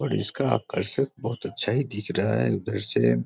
और इसका आकर्षक बहुत अच्छा ही दिख रहा है उधर से।